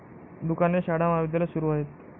दुकाने, शाळा, महाविद्यालय सुरू आहेत.